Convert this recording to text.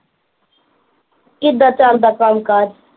ਕਿੱਦਾਂ ਚੱਲਦਾ ਕੰਮ ਕਾਜ